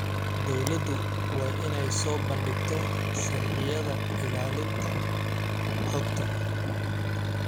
Dawladdu waa inay soo bandhigtaa sharciyada ilaalinta xogta.